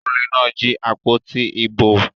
Olè náà jí àpótí ìbò.